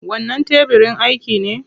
Wannan tebirin aiki ne?